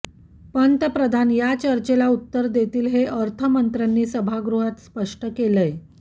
पंतप्रधान या चर्चेला उत्तर देतील हे अर्थमंत्र्यांनी सभागृहात स्पष्ट केलंय